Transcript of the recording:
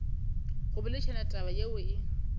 go boledišana taba yeo e